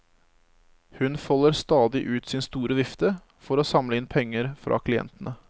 Hun folder stadig ut sin store vifte for å samle inn penger fra klientene.